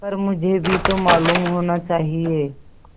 पर मुझे भी तो मालूम होना चाहिए